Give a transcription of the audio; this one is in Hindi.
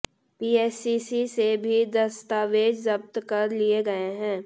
पीएससी से भी दस्तावेज जब्त कर लिए गए हैं